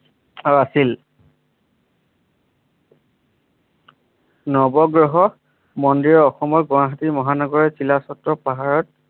নৱগ্ৰহ মন্দিৰৰ অসমৰ গুৱাহাটী মহানগৰীৰ চিলাচত্ত পাহাৰত